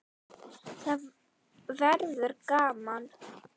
Það verður gaman.